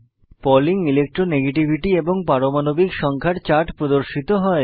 Pauling electronegativity এবং পারমাণবিক সংখ্যা এর চার্ট প্রদর্শিত হয়